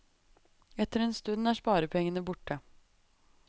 Etter en stund er sparepengene borte.